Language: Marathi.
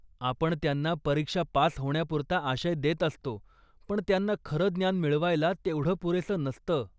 आपण त्यांना परीक्षा पास होण्यापुरता आशय देत असतो, पण त्यांना खरं ज्ञान मिळवायला तेवढं पुरेसं नसतं.